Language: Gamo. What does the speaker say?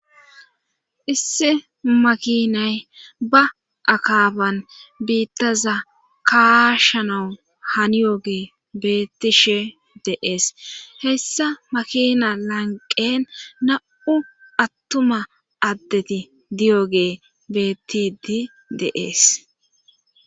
Issi makinay ba akaaban biittaza kaasha nawu haniyoge bettishe deees hessa makina lanqen na7u attuma addeti diyoge beettidi deees.